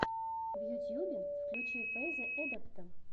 в ютьюбе включи фэйза эдэпта